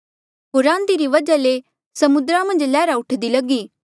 होर आंधी री वजहा ले समुद्रा मन्झ लैहरा उठदी लगी